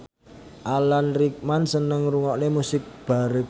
Alan Rickman seneng ngrungokne musik baroque